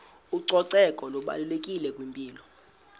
ucoceko lubalulekile kwimpilo